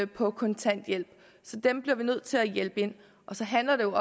på kontanthjælp så dem bliver vi nødt til at hjælpe ind og så handler det